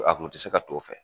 A kun te se ka don o fɛ